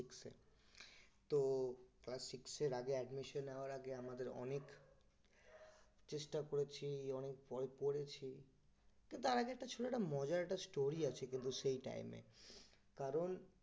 তো class six এর আগে আমাদের admission নেওয়ার আগে অনেক চেষ্টা করেছি অনেক পড়েছি তো তার আগে ছিল একটা মজার একটা story আছে কিন্তু সেই time এ কারণ